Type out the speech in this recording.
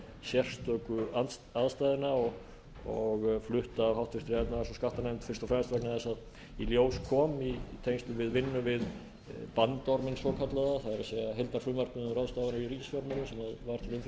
þessara sérstöku aðstæðna og flutt af háttvirtrar efnahags og skattanefnd fyrst og fremst vegna þess að í ljós kom i tengslum við vinnu við bandorminn svokallaða það er heildarfrumvarpið um ráðstafanir í ríkisfjármálum sem var til umfjöllunar í efnahags og